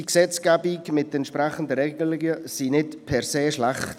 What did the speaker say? Die jetzige Gesetzgebung mit den entsprechenden Regelungen ist nicht per se schlecht.